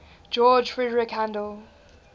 george frideric handel